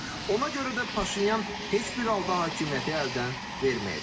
Ona görə də Paşinyan heç bir halda hakimiyyəti əldən verməyəcək.